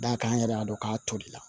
D'a kan an yɛrɛ y'a dɔn k'a toli la